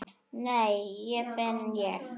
Nei, hvað finn ég!